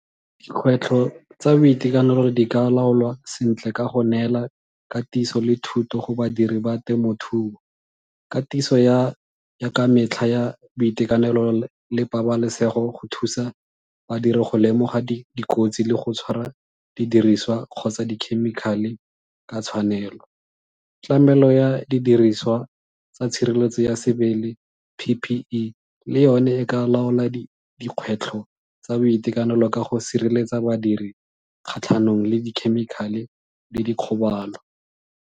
Dikgwetlho tsa boitekanelo di ka laolwa sentle ka go neela katiso le thuto go badiri ba temothuo. Katiso ya ka metlha ya boitekanelo le pabalesego go thusa badiri go lemoga dikotsi le go tshwara didiriswa kgotsa dikhemikhale ka tshwanelo. Tlamelo ya didiriswa tsa tshireletso ya sebele P_P_E le yone e ka laola dikgwetlho tsa boitekanelo ka go sireletsa badiri kgatlhanong le dikhemikhale le dikgobalo.